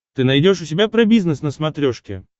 ты найдешь у себя про бизнес на смотрешке